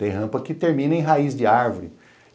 Tem rampa que termina em raiz de árvore.